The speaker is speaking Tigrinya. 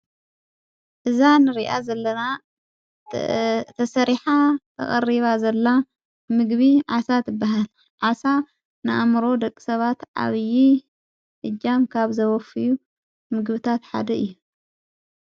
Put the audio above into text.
እዛ ንርኣ ዘለና ተሠሪኃ ተቐሪባ ዘላ ምግቢ ዓሣ ትበሃል ዓሣ ንኣምሮ ደቕሰባት ዓብዪ እጃም ካብ ዘበፍዩ ምግብታት ሓደ እዩ።